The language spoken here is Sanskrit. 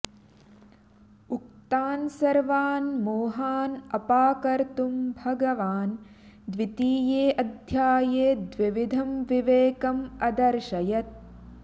उक्तान् सर्वान् मोहान् अपाकर्तुं भगवान् द्वितीयेऽध्याये द्विविधं विवेकम् अदर्शयत्